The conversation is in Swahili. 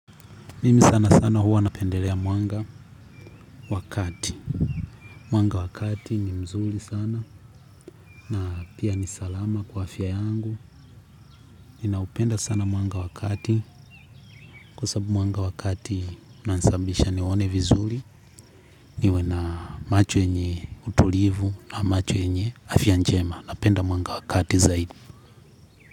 Mimi sana sana huwa napendelea mwanga wa kati. Mwanga wa kati ni mzuri sana na pia ni salama kwa afya yangu. Ninaupenda sana mwanga wa kati kwa sababu mwanga wa kati unanisababisha nione vizuri. Niwe na macho yenye utulivu ama macho yenye afya njema. Napenda mwanga wa kati zaidi.